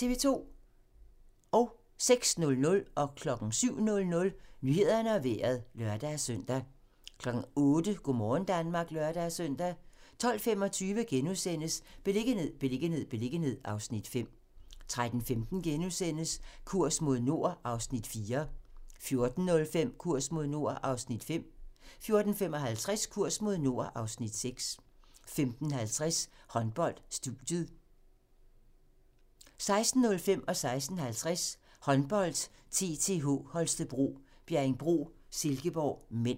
06:00: Nyhederne og Vejret (lør-søn) 07:00: Nyhederne og Vejret (lør-søn) 08:00: Go' morgen Danmark (lør-søn) 12:25: Beliggenhed, beliggenhed, beliggenhed (Afs. 5)* 13:15: Kurs mod nord (Afs. 4)* 14:05: Kurs mod nord (Afs. 5) 14:55: Kurs mod nord (Afs. 6) 15:50: Håndbold: Studiet 16:05: Håndbold: TTH Holstebro - Bjerringbro-Silkeborg (m) 16:50: Håndbold: TTH Holstebro - Bjerringbro-Silkeborg (m)